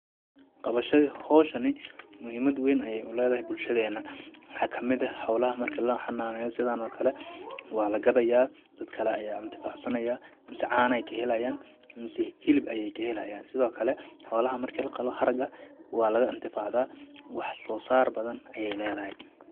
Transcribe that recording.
Qabashada howshani muhiimad weyn ayeey u leedahay bulshadeena ,maxaa kamid eh xoolaha marki la xanaaneeyo sidaan oo kale waa la gadayaa ,dad kale ayaa intifaac sanayaa mase caaneey ka helayaan mase hilib ayeey ka helayaan ,sidoo kale xoolaha marki la qalo haraga waa laga intifaacdaa ,wax soo saar badan ayeey leedahay.